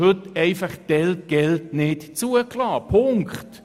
Heute ist dies telquel nicht zugelassen – Punkt;